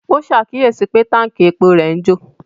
Ó ṣàkíyèsí pé Tánkì epo rẹ̀ ń jò